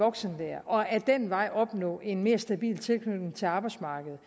voksenlære og ad den vej opnå en mere stabil tilknytning til arbejdsmarkedet